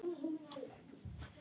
Staða efstu karla